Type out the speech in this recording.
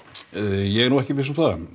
ég er ekki viss um